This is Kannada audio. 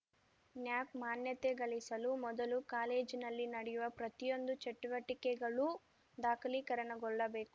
ನ್ಯಾಕ್ ಮಾನ್ಯತೆ ಗಳಿಸಲು ಮೊದಲು ಕಾಲೇಜಿನಲ್ಲಿ ನಡೆಯುವ ಪ್ರತಿಯೊಂದು ಚಟುವಟಿಕೆಗಳೂ ದಾಖಲೀಕರಣಗೊಳ್ಳಬೇಕು